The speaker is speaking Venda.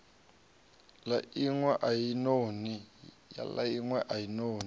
la inwe a i noni